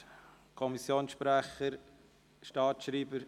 Der Kommissionssprecher oder der Staatsschreiber?